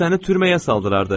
Səni türməyə saldırdı.